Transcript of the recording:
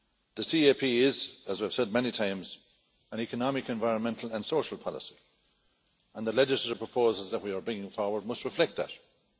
The CAP is, as I've said many times, an economic, environmental and social policy and the legislative proposals that we are bringing forward must reflect that.